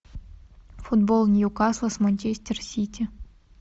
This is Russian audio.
футбол ньюкасл с манчестер сити